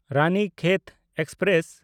Ranikhet express